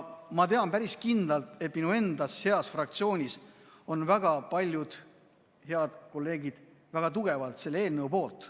Ma tean päris kindlalt, et minu enda heas fraktsioonis on väga paljud head kolleegid tugevalt selle eelnõu poolt.